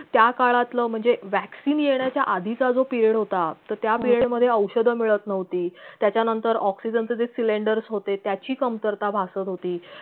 त्या काळातलं म्हणजे vaccine येण्याच्या आधीचा जो period होता तर त्या period मधे औषध मिळत नव्हती त्याच्यानंतर oxygen चे जे cylinders होते त्याची कमतरता भासत होती